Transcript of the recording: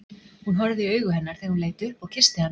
Hún horfði í augu hennar þegar hún leit upp og kyssti hana.